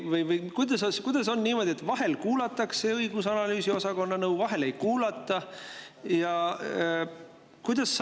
Kuidas on niimoodi, et vahel kuulatakse õigus- ja analüüsiosakonna nõu, vahel ei kuulata?